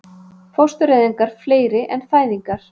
Fóstureyðingar fleiri en fæðingar